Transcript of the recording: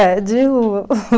É, de rua.